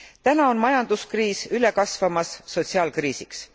Täna on majanduskriis üle kasvamas sotsiaalkriisiks.